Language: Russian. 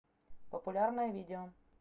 популярное видео